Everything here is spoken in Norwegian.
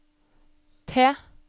T